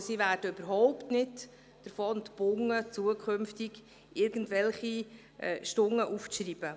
Also, sie werden überhaupt nicht davon entbunden, zukünftig irgendwelche Stunden aufzuschreiben.